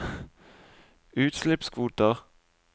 utslippskvoter